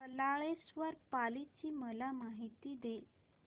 बल्लाळेश्वर पाली ची मला माहिती दे